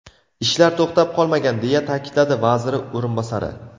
Ishlar to‘xtab qolmagan”, deya ta’kidladi vaziri o‘rinbosari.